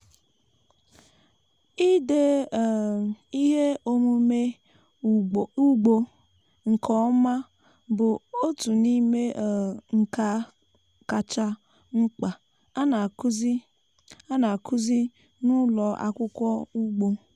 ịde um ihe omume ugbo nke ọma bụ otu n'ime um nka kacha mkpa a na-akụzi a na-akụzi n'ụlọ akwụkwọ ugbo.